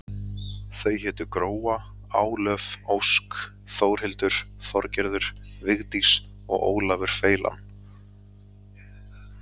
Þau hétu Gróa, Álöf, Ósk, Þórhildur, Þorgerður, Vigdís og Ólafur feilan.